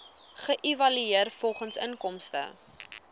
geëvalueer volgens inkomste